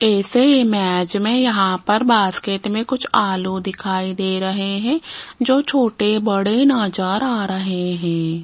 ऐसे इमेज में यहां पर बास्केट में कुछ आलू दिखाई दे रहे हैं जो छोटे बड़े नजर रहे हैं।